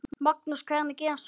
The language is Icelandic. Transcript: Magnús: Hvernig gerist svona?